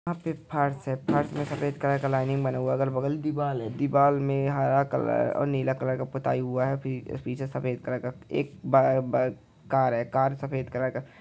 यहां पे फर्श है फर्श में सफेद कलर का लाइनिंग बना हुआ है अगल बगल दीवार है दीवार में हरा कलर और नीला कलर का पोतई हुआ है पीछे सफेद कलर का एक बड़ा कार है कार सफेद कलर का--